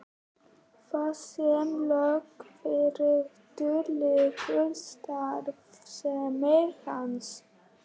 Þar sem lög þrýtur lýkur starfsemi hans.